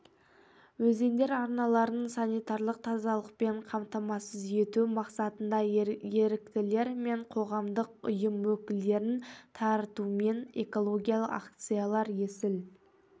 өзендер арналарын санитарлық тазалықпен қамтамасыз ету мақсатында еріктілер мен қоғамдық ұйым өкілдерін тартумен экологиялық акциялар есіл